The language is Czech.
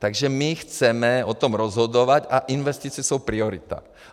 Takže my chceme o tom rozhodovat a investice jsou priorita.